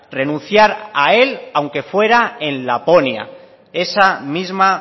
renunciar a él aunque fuera en laponia esa misma